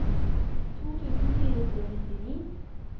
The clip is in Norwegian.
to tusen fire hundre og nittini